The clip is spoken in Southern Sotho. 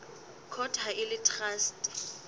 court ha e le traste